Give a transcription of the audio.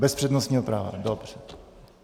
Bez přednostního práva, dobře.